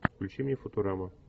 включи мне футурама